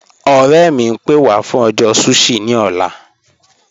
Ọ̀rẹ̀ mi, ń pẹ́ wà fún ọjọ́ sushi ni ọ̀là.